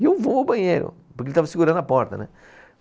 E eu vou ao banheiro, porque ele estava segurando a porta, né?